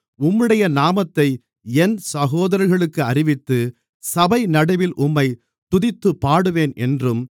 உம்முடைய நாமத்தை என் சகோதரர்களுக்கு அறிவித்து சபை நடுவில் உம்மைத் துதித்துப்பாடுவேன் என்றும்